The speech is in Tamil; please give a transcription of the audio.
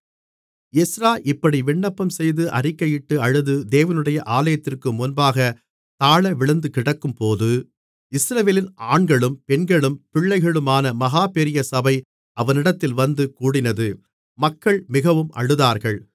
எஸ்றா இப்படி விண்ணப்பம்செய்து அறிக்கையிட்டு அழுது தேவனுடைய ஆலயத்திற்கு முன்பாகத் தாழவிழுந்துகிடக்கும்போது இஸ்ரவேலில் ஆண்களும் பெண்களும் பிள்ளைகளுமான மகா பெரிய சபை அவனிடத்தில் வந்து கூடினது மக்கள் மிகவும் அழுதார்கள்